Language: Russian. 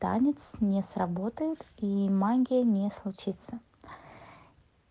танец не сработает и магия не случится